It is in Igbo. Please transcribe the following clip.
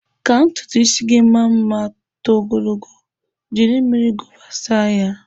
Ka ntutu ịsị gị maa mma ma too ogologo, jiri mmiri gova saa ya.